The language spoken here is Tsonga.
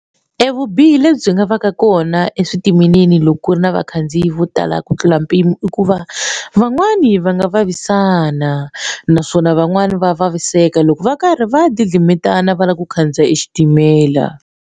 Evubihi lebyi nga va ka kona eswitimeleni loko ku ri na vakhandziyi vo tala ku tlula mpimo i ku va van'wani va nga vavisana naswona van'wani va vaviseka loko va karhi va deal swimitana va lava ku khandziya xitimela.